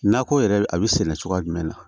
Nakɔ yɛrɛ a bi sɛnɛ cogoya jumɛn na